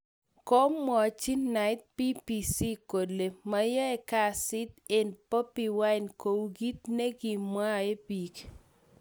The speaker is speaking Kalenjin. komwachi knight BBC kole mayai kasit ag Bobi wine kou kit ne mwae pik.